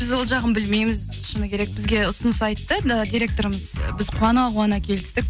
біз ол жағын білмейміз шыны керек бізге ұсыныс айтты директорымыз біз қуана қуана келістік